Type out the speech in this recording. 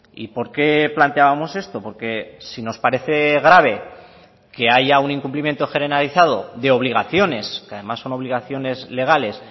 y por qué planteábamos esto porque si nos parece grave que haya un incumplimiento generalizado de obligaciones que además son obligaciones legales